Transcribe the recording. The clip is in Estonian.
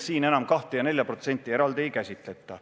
Siin enam 2% ja 4% eraldi ei käsitleta.